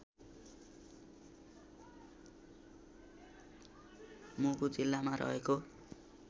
मुगु जिल्लामा रहेको